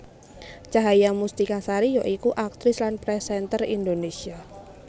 Cahaya Mustika Sari ya iku aktris lan presenter Indonésia